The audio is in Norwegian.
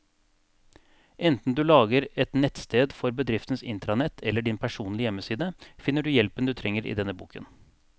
Enten du lager et nettsted for bedriftens intranett eller din personlige hjemmeside, finner du hjelpen du trenger i denne boken.